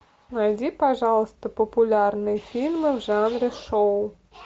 найди пожалуйста популярные фильмы в жанре шоу